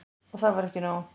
Og það var ekki nóg.